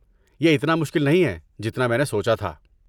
یہ اتنا مشکل نہیں ہے جتنا میں نے سوچا تھا۔